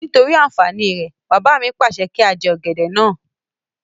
Nítorí àǹfàní rẹ̀, bàbá mi pàṣẹ kí á jẹ ọ̀gẹ̀dẹ̀ náà